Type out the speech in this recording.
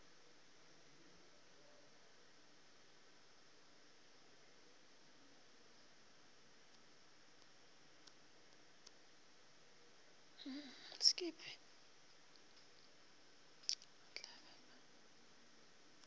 yo o tla be a